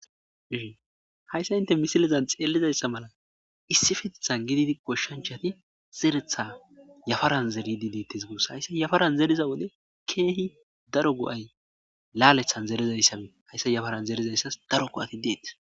Hayssa inte misilizan xeelizayssa mala issifitetha gididi goshshanchati zeretha yafaran zerydi deettes guos hayssa yafaran zeriza wode keehi daro go7ay laalethan zerezayssabe hayssa yafaran zerizayssas daro go'ati deetes.